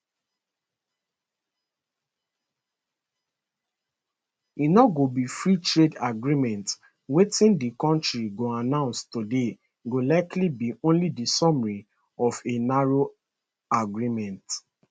e no go be freetrade agreement wetin di kontris go announce today go likely be only di summary of a narrow agreement